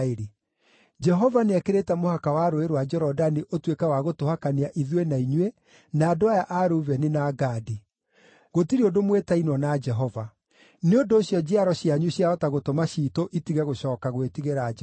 Jehova nĩekĩrĩte mũhaka wa Rũũĩ rwa Jorodani ũtuĩke wa gũtũhakania ithuĩ na inyuĩ, na andũ aya a Rubeni na Gadi! Gũtirĩ ũndũ mwĩtainwo na Jehova.’ Nĩ ũndũ ũcio njiaro cianyu ciahota gũtũma ciitũ itige gũcooka gwĩtigĩra Jehova.